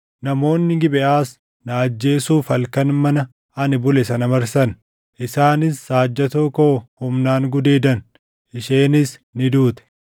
Namoonni Gibeʼaas na ajjeesuuf halkan mana ani bule sana marsan. Isaanis saajjatoo koo humnaan gudeedan; isheenis ni duute.